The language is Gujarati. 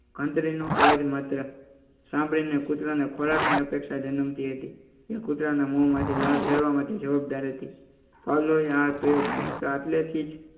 ઘંટડી નો અવાજ માત્ર સાંભળીને કૂતરાને ખોરાક ની અપેક્ષા જનમતી હતી